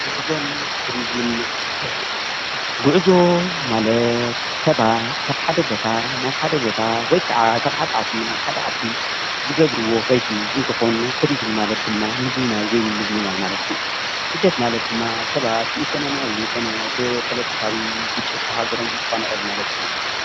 ጉዕዞን ቱሪዝምን ስደትን:‑ ጉዕዞ ማለት ሰባት ካብ ሓደ ቦታ ናብ ሓደ ቦታ ወይ ክዓ ካብ ሓደ ዓዲ ናብ ሓደ ዓዲዝገብርዎ ከይዲ እንትኮን ቱሪዝም ማለት ድማ ምጉብናይ ወይ ድማ ምዝንይናይ ማለት እዩ ስደት ማለት ድማ ሰባት ብኢኮኖምያዊ ኮነ ብፖሎቶካዊ ግጭት ካበ ሃገሮም እንትፈናቀሉ ማለት እዩ፡፡